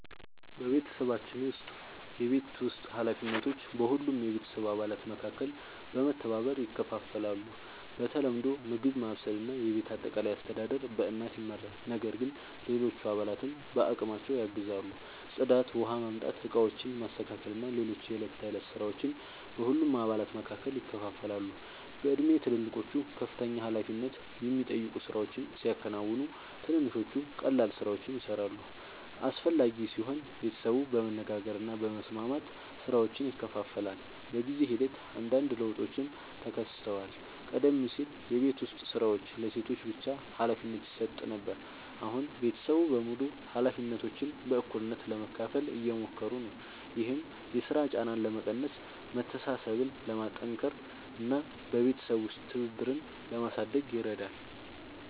በቤተሰባችን ውስጥ የቤት ውስጥ ኃላፊነቶች በሁሉም የቤተሰብ አባላት መካከል በመተባበር ይከፋፈላሉ። በተለምዶ ምግብ ማብሰል እና የቤት አጠቃላይ አስተዳደር በእናት ይመራል፣ ነገር ግን ሌሎች አባላትም በአቅማቸው ያግዛሉ። ጽዳት፣ ውኃ ማምጣት፣ ዕቃዎችን ማስተካከል እና ሌሎች የዕለት ተዕለት ሥራዎች በሁሉም አባላት መካከል ይከፋፈላሉ። በእድሜ ትልልቆቹ ከፍተኛ ኃላፊነት የሚጠይቁ ሥራዎችን ሲያከናውኑ፣ ትንንሾቹ ቀላል ሥራዎችን ይሠራሉ። አስፈላጊ ሲሆን ቤተሰቡ በመነጋገር እና በመስማማት ሥራዎችን ይከፋፍላል። በጊዜ ሂደት አንዳንድ ለውጦችም ተከስተዋል። ቀደም ሲል የቤት ዉስጥ ሥራዎች ለሴቶች ብቻ ሀላፊነት ይሰጥ ነበር፣ አሁን ቤተሰቡ በሙሉ ኃላፊነቶችን በእኩልነት ለመካፈል እየሞከሩ ነው። ይህም የሥራ ጫናን ለመቀነስ፣ መተሳሰብን ለማጠናከር እና በቤተሰብ ውስጥ ትብብርን ለማሳደግ ይረዳል።